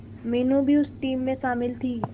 मीनू भी उस टीम में शामिल थी